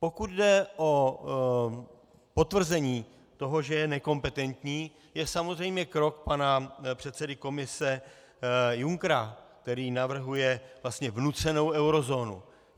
Pokud jde o potvrzení toho, že je nekompetentní, je samozřejmě krok pana předsedy Komise Junckera, který navrhuje vlastně vnucenou eurozónu.